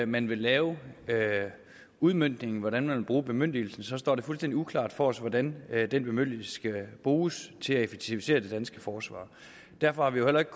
man vil lave udmøntningen og hvordan man vil bruge bemyndigelsen så står det fuldstændig uklart for os hvordan den bemyndigelse skal bruges til at effektivisere det danske forsvar derfor har vi jo heller ikke